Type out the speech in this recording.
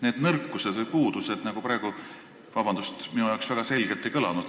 Need nõrkused või puudused, vabandust, minu arvates väga selgelt ei kõlanud.